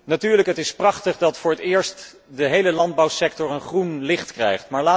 Natuurlijk, het is prachtig dat voor het eerst de hele landbouwsector een groen licht krijgt.